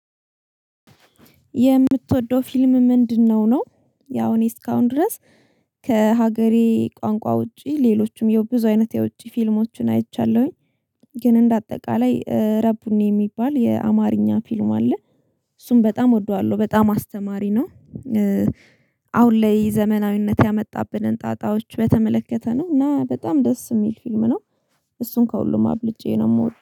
የምትወደው ፊልም ምንድነው? ነው ያው እኔ እስካሁን ድረስ ከሀገሬ ቋንቋ ውጪ ሌሎችም ብዙ አይነት የውጪ ፊልሞችን አይቻለሁኝ። ግን እንደ አጠቃላይ ረቡኒ የሚባል የአማርኛ ፊልም አለ። እሱን በጣም እወደዋለሁ በጣም አስተማሪ ነው። አሁን ላይ ዘመናዊነት ያመጣብን ጣጣዎች በተመለከተ ነው እና በጣም ደስ የሚል ፊልም ነው። እሱን ከሁሉም አብልጬ ነው የምወደው